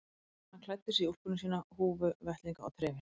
Hann klæddi sig í úlpuna sína, húfu, vettlinga og trefil.